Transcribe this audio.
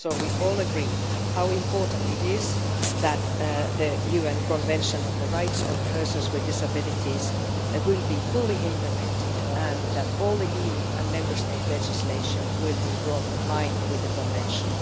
So we all agree how important it is that the UN Convention on the Rights of Persons with Disabilities will be fully implemented and that all EU and Member State legislation will be brought into line with the Convention.